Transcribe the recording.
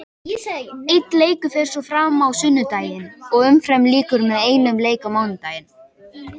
Einn leikur fer svo fram á sunnudaginn og umferðinni lýkur með einum leik á mánudaginn.